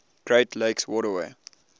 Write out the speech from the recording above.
great lakes waterway